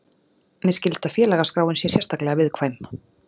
Mér skilst að félagaskráin sé sérstaklega viðkvæm